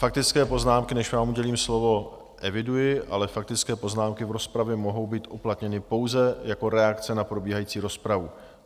Faktické poznámky, než vám udělím slovo, eviduji, ale faktické poznámky v rozpravě mohou být uplatněny pouze jako reakce na probíhající rozpravu.